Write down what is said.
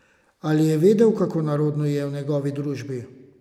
Ali je vedel, kako narodno ji je v njegovi družbi?